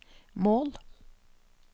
mål